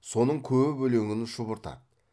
соның көп өлеңін шұбыртады